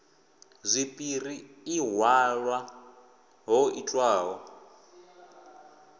zwipiri i halwa ho itwaho